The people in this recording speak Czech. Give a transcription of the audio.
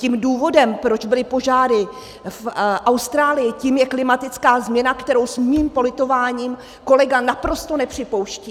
Tím důvodem, proč byly požáry v Austrálii, tím je klimatická změna, kterou s mým politováním kolega naprosto nepřipouští.